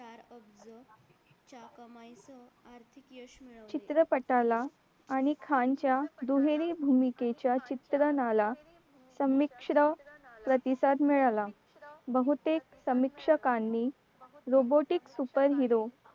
चित्रपटाला आणि खान च्या दुहेरी भूमिकेच्या चित्र नाला संमिश्र प्रतिसाद मिळाला बहुतेक समीक्षकांनी robotic super hero